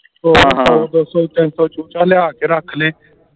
ਦੋ ਸੋ ਤਿੰਨ ਸੌ ਚੂਚਾ ਲਿਆ ਕੇ ਰੱਖ ਲੇ